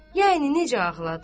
Yəni necə ağladı?